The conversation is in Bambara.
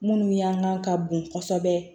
Minnu y'an kan ka bon kosɛbɛ